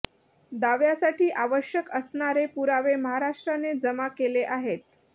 दाव्यासाठी आवश्यक असणारे पुरावे महाराष्ट्राने जमा केले आहेत